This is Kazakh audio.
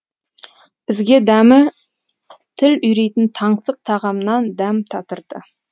бізге дәмі тіл үйрейтін таңсық тағамнан дәм татырды